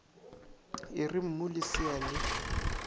e re mmu lesea le